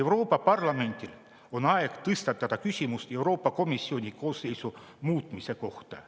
Euroopa Parlamendil on aeg tõstatada küsimus Euroopa Komisjoni koosseisu muutmise kohta.